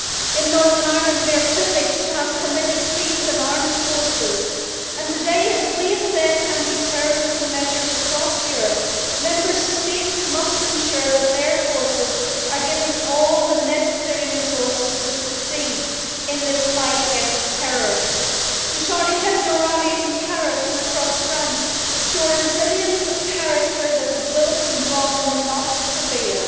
In Northern Ireland we are privileged to have committed police and armed forces, and today as we assess anti terrorism measures across Europe, Member States must ensure that their forces are given all the necessary resources to succeed in this fight against terror. The Charlie Hebdo rallies in Paris and across France show a resilience of character that says the bullet and bomb will not prevail.